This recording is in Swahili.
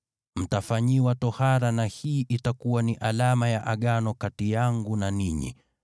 Mtafanyiwa tohara na hii itakuwa ni alama ya Agano kati yangu na ninyi.